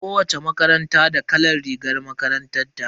Kowacce makaranta da kalan rigar makarantar ta.